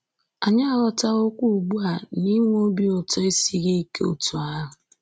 Anyị aghọtawo ugbu a na inwe obi ụtọ esighị ike otú ahụ